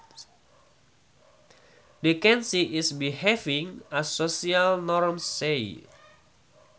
Decency is behaving as social norms say